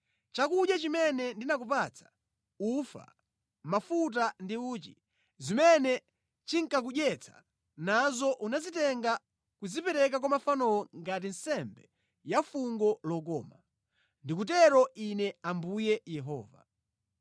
Chakudya chimene ndinakupatsa, ufa, mafuta ndi uchi, zimene ndinkakudyetsa nazo unazitenga nʼkuzipereka kwa mafanowo ngati nsembe ya fungo lokoma. Ndikutero Ine Ambuye Yehova.